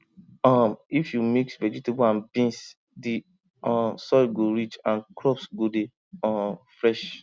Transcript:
um if you mix vegetable and beans the um soil go rich and crops go dey um fresh